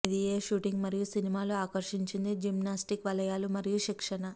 ఇది ఏ షూటింగ్ మరియు సినిమాలు ఆకర్షించింది జిమ్నాస్టిక్ వలయాలు మరియు శిక్షణ